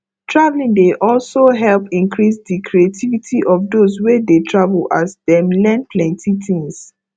traveling dey also help increase the creativity of those wey dey travel as dem learn plenty things